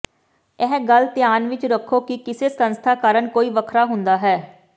ਇਹ ਗੱਲ ਧਿਆਨ ਵਿੱਚ ਰੱਖੋ ਕਿ ਕਿਸੇ ਸੰਸਥਾ ਕਾਰਨ ਕੋਈ ਵੱਖਰਾ ਹੁੰਦਾ ਹੈ